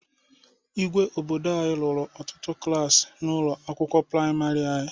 Igwe obodo anyị rụrụ ọtụtụ klaasị na ụlọ akwụkwọ praimarị anyị.